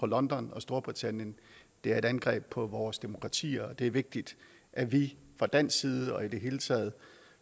london og storbritannien det er et angreb på vores demokratier og det er vigtigt at vi fra dansk side og i det hele taget